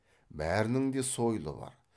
бәрінің де сойылы бар